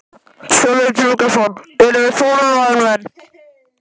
Sölvi Tryggvason: En þið eruð þolinmóðir menn?